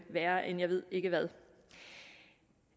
værre end jeg ved ikke hvad